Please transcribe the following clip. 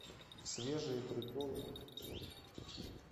свежие приколы